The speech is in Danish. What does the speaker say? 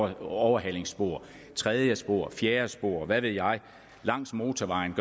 et overhalingsspor et tredje spor et fjerde spor hvad ved jeg langs motorvejen